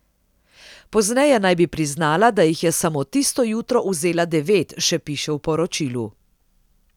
Pozneje naj bi priznala, da jih je samo tisto jutro vzela devet, še piše v poročilu.